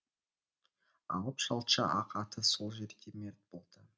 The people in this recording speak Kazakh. алып шалчы ақ атысол жерде мерт болды